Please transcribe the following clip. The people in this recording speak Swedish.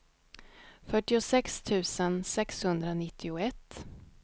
fyrtiosex tusen sexhundranittioett